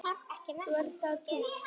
Nú ert það þú.